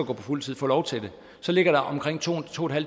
på fuldtid får lov til det ligger omkring to